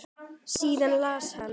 Síðan las hann: